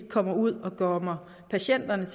kommer ud og kommer patienterne